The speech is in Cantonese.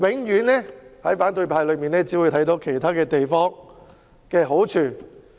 在反對派眼中，永遠只會看到其他地方的好處。